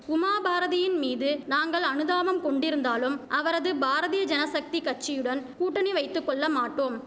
உமாபாரதியின்மீது நாங்கள் அனுதாபம் கொண்டிருந்தாலும் அவரது பாரதிய ஜனசக்தி கட்சியுடன் கூட்டணி வைத்து கொள்ள மாட்டோம்